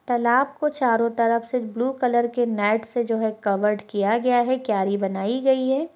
तालाब को चारों तरफ से ब्लू कलर के मैट से जो है कवर्ड किया गया है क्यारी बनाई गयी है।